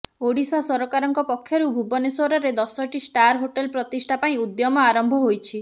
ଓଡ଼ିଶା ସରକାରଙ୍କ ପକ୍ଷରୁ ଭୁବନେଶ୍ୱରରେ ଦଶଟି ଷ୍ଟାର ହୋଟେଲ ପ୍ରତିଷ୍ଠା ପାଇଁ ଉଦ୍ୟମ ଆରମ୍ଭ ହୋଇଛି